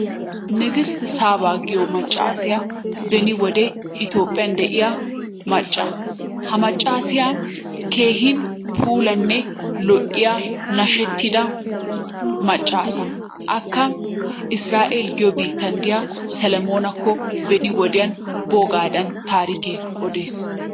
Nigist saaba giyo maccaassiya beni wode itoophphiya de'iya macca. Ha maccaassiya keehin puulanne lo'iya nashshettida maccaasa. Akka israel giyo biittan diya salamoonakko beni wodiyan boogaadan tarikkee odees.